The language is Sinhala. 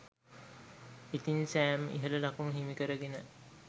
ඉතිං සෑම් ඉහල ලකුණු හිමිකරගෙන